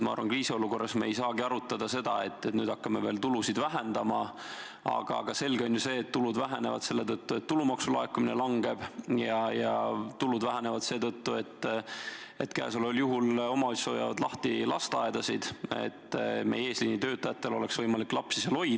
Ma arvan, et kriisiolukorras me ei saagi arutada seda, et nüüd hakkame veel tulusid vähendama, aga selge on ju see, et tulud vähenevad selle tõttu, et tulumaksu laekumine langeb, ja tulud vähenevad seetõttu, et omavalitsused hoiavad lahti lasteaedasid, et meie eesliinitöötajatel oleks võimalik lapsi seal hoida.